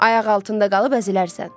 Ayaq altında qalıb əzilərsən.